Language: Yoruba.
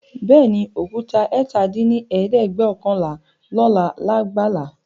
Bẹẹni, Òkúta ẹ̀ta dín ní ẹ̀ẹ́dẹ́gbẹ́ọ̀kànlá lóla lágbàlá